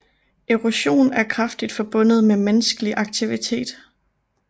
Erosion er kraftigt forbundet med menneskelig aktivitet